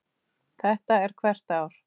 Þetta er hvert ár?